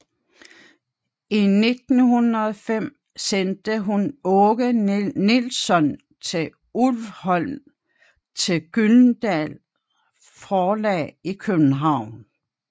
I 1905 sendte hun Aage Nielssøn til Ulvholm til Gyldendal forlag i København